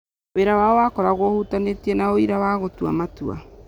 Wĩra wao wakoragwo ũhutanĩtie na ũira wa gũtua matua.